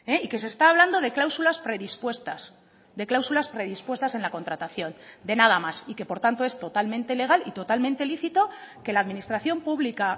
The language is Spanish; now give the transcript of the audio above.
y que se está hablando de cláusulas predispuestas de cláusulas predispuestas en la contratación de nada más y que por tanto es totalmente legal y totalmente lícito que la administración pública